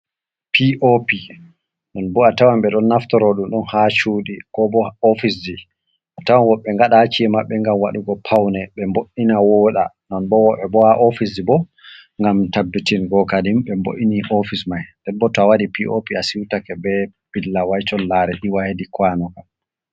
Pi o pi, nonbo a tawan ɓeɗon naftoro ɗum ɗon ha cudi ko bo ofisji, a tawan woɓɓe ngadaki maɓɓe ngam waɗugo pawne be mbo'’ina woɗa non bo koha ofisji bo ngam tabbitingo kadin ɓe mbo'ini ofis mai, Nden bo tob waɗi pop a siutake be ɓilla wai collare iwwa hedi kuwano kam.